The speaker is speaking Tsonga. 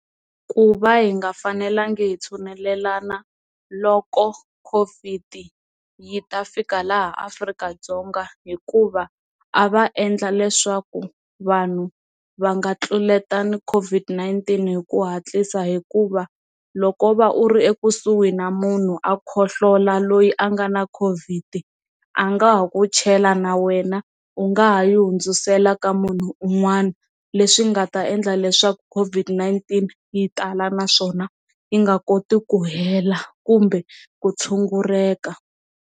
Ku va hi nga fanelangi hi tshunelelani na loko COVID yi ta fika laha Afrika-Dzonga hikuva a va endla leswaku vanhu va nga tluletani COVID-19 hi ku hatlisa hikuva loko va u ri ekusuhi na munhu a khohlola loyi a nga na COVID a nga ha ku chela na wena u nga ha yi hundzisela ka munhu un'wana leswi nga ta endla leswaku COVID-19 yi tala naswona yi nga koti ku hela kumbe ku tshunguleka.